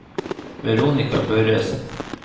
Veronica Børresen